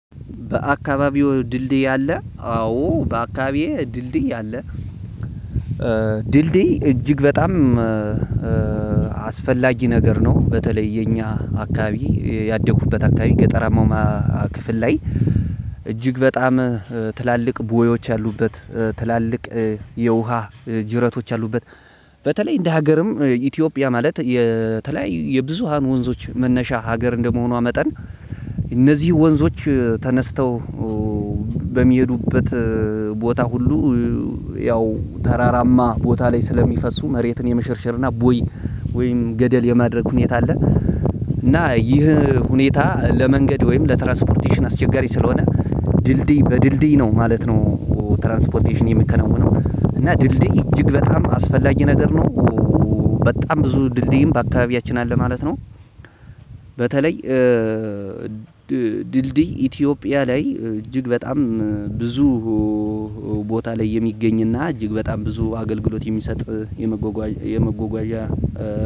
በአካባቢው ድልድይ አለ? አዎ በአካባቢዬ ድልድይ አለ። ድልድይ እጅግ በጣም አስፈላጊ ነገር ነው። በተለይ የኛ አካባቢ ያደጉበት አካባቢ ገጠርማማ ክፍል ላይ እጅግ በጣም ትላልቅ ቦዮች ያሉበት፣ ትላልቅ የውሃ ጅረቶች አሉበት፣ በተለይ እንደ ሀገርም ኢትዮጵያ ማለት የተለያዩ የብዙሃን ወንዞች መነሻ ሀገር እንደመሆኗ መጠን እነዚህ ወንዞች ተነስተው በሚሄዱበት ቦታ ሁሉ ያው ተራራማ ቦታ ላይ ስለሚፈሱ መሬትን የመሸርሸርና ቦይ ወይም ገደል የማድረግ ሁኔታ አለ። እና ይህ ሁኔታ ለመንገድ ወይም ለትራንስፖርቴሽን አስቸጋሪ ስለሆነ ድልድይ በድልድይ ነው ማለት ነው ትራንስፖርቴሽን የሚከነውነው። እና ድልድይ እጅግ በጣም አስፈላጊ ነገር ነው። በጣም ብዙ ድልድይም በአካባቢያችን አለ ማለት ነው። በተለይ ድልድይ ኢትዮጵያ ላይ እጅግ በጣም ብዙ ቦታ ላይ የሚገኝና እጅግ በጣም ብዙ አገልግሎት የሚሰጥ የመጎጓዥ የመጎጓዣ